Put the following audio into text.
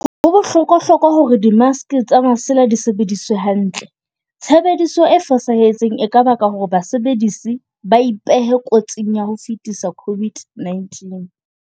Ho bohlokwahlokwa hore dimaske tsa masela di sebediswe hantle. Tshebe-diso e fosahetseng e ka baka hore basebedisi ba ipehe kotsing ya ho fetisa COVID-19.